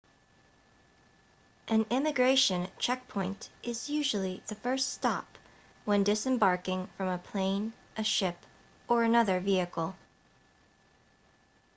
an immigration checkpoint is usually the first stop when disembarking from a plane a ship or another vehicle